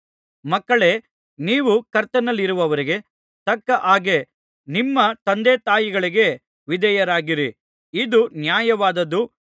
ಮಕ್ಕಳೇ ನೀವು ಕರ್ತನಲ್ಲಿರುವವರಿಗೆ ತಕ್ಕ ಹಾಗೆ ನಿಮ್ಮ ತಂದೆತಾಯಿಗಳ ವಿಧೇಯರಾಗಿರಿ ಇದು ನ್ಯಾಯವಾದದ್ದು